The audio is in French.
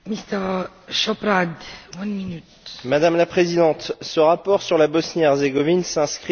Madame la Présidente, ce rapport sur la Bosnie Herzégovine s'inscrit dans la logique de l'élargissement à marche forcée.